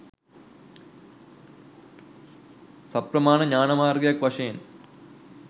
සප්‍රමාණ ඥාන මාර්ගයක් වශයෙන්